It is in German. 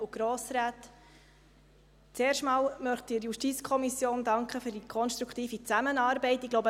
Zuerst möchte ich der JuKo für die konstruktive Zusammenarbeit danken.